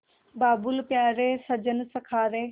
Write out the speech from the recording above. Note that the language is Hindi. बाबुल प्यारे सजन सखा रे